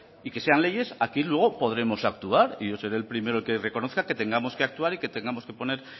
y que sean leyes aquí luego podremos actuar y yo seré el primero que reconozca que tengamos que actuar y que tengamos que poner